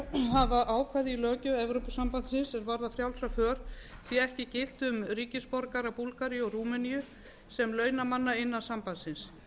hafa ákvæði í löggjöf evrópusambandsins sem varða frjálsa för því ekki gilt um ríkisborgara búlgaríu og rúmeníu sem launamanna innan sambandsins